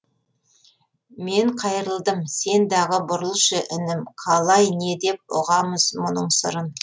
мен қайырылдым сен дағы бұрылшы інім қалай не деп ұғамыз мұның сырын